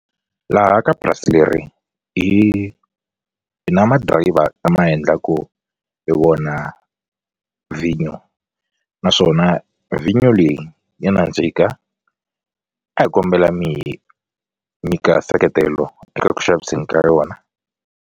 Laha ka purasi leri hi hi na ma-driver lama hi endlaku hi wona vhinyo naswona vhinyo leyi ya nandzika a hi kombela mi hi nyika nseketelo eka ku xaviseni ka yona.